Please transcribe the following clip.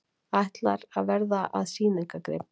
Ætlar að verða að sýningargrip